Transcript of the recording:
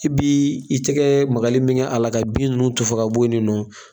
I b'i i tigɛ magali min kɛ a la ka bin ninnu tufan ka bo ye nin nɔ